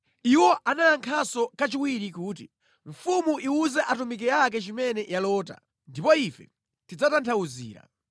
Iwo anayankhanso kachiwiri kuti, “Mfumu iwuze atumiki ake chimene yalota, ndipo ife tidzatanthauzira.”